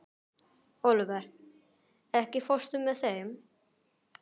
Olivert, ekki fórstu með þeim?